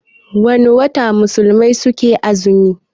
Wana wata musulmai suke azumi?